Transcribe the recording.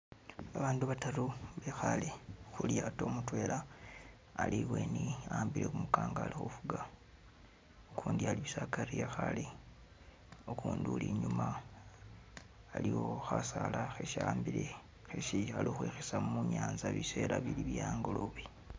Babandu bataru bekhale khulyato mutwela ali'ibweni wa'ambile kumukango alikhufugga, ukundi ali'akari bussa wekhale, ukundi uli'inyuma iliwo Khasala khesi'ambile khekhisa munyanza bisela bili'bye'angolobe.